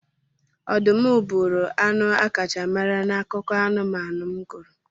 Ọdụm bụụrụ anụ akacha mara na akụkọ anụmanụ m gụrụ.